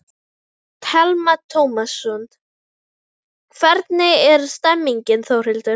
Telma Tómasson: Hvernig er stemningin Þórhildur?